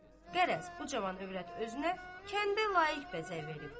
Qərəz, bu cavan övrət özünə kəndə layiq bəzək veribdir.